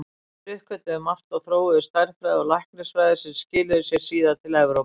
Þeir uppgötvuðu margt og þróuðu stærðfræði og læknisfræði sem skilaði sér síðar til Evrópu.